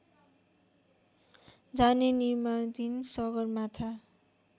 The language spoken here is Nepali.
जाने निमार्णधिन सगरमाथा